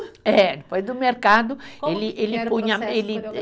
É, depois do mercado ele, ele punha, ele eh.